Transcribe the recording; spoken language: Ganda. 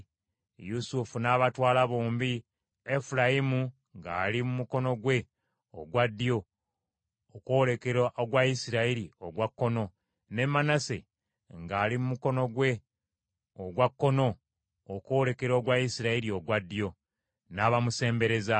Yusufu n’abatwala bombi, Efulayimu ng’ali mu mukono gwe ogwa ddyo, okwolekera ogwa Isirayiri ogwa kkono, ne Manase ng’ali mu mukono gwe ogwa kkono okwolekera ogwa Isirayiri ogwa ddyo, n’abamusembereza.